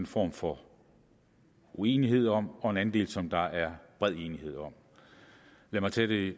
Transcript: form for uenighed om og en anden del som der er bred enighed om lad mig tage det